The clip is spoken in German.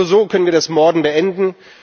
Nur so können wir das Morden beenden.